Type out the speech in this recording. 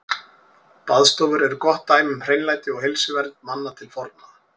Baðstofur eru gott dæmi um hreinlæti og heilsuvernd manna til forna.